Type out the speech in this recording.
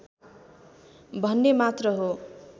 भन्ने मात्र हो